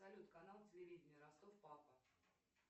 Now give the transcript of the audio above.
салют канал телевидения ростов папа